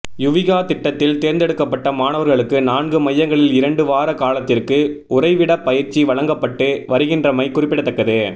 யுவிகா திட்டத்தில் தேர்ந்தெடுக்கப்பட்ட மாணவர்களுக்கு நான்கு மையங்களில் இரண்டு வார காலத்திற்கு உறைவிடப் பயிற்சி வழங்கப்பட்டு வருகின்றமை குறிப்பிடத்தக்கது